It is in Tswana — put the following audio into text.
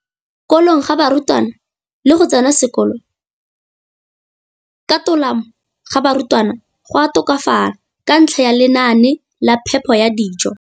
kolong ga barutwana le go tsena sekolo ka tolamo ga barutwana go a tokafala ka ntlha ya lenaane la phepo ya dijo.